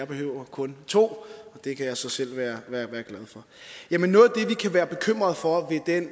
behøver kun to det kan jeg så selv være være glad for jamen noget af det vi kan være bekymrede for ved den